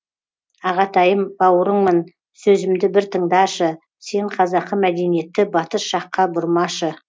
ағатайым бауырыңмын сөзімді бір тыңдашы сен қазақы мәдениетті батыс жаққа бұрмашы